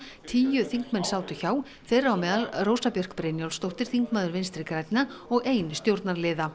tíu þingmenn sátu hjá þeirra á meðal Rósa Björk Brynjólfsdóttir þingmaður Vinstri grænna og ein stjórnarliða